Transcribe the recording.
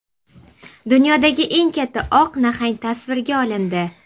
Dunyodagi eng katta oq nahang tasvirga olindi .